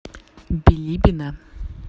билибино